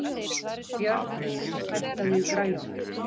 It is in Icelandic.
Björney, hækkaðu í græjunum.